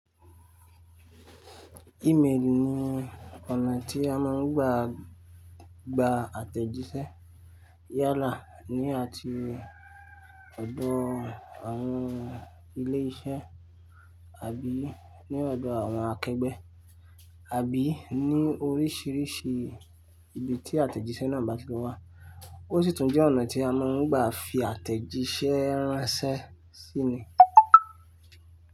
Emaili ni ọ̀nà tí a máa ń gbaa, gba àtẹ̀jíṣẹ́ yálà ní àti ọ̀dọ̀ àwọn ilé iṣẹ́ àbí ní ọ̀dọ̀ àwọn akẹgbẹ́, àbí ní oríṣìíríṣìí ibi tí àtẹ̀jíṣẹ́ náà bá ti wà. Ó sì tún jẹ́ ọ̀nà tí a máa ń gba fi àtẹ̀jíṣẹ́ ránṣẹ́ sí ni.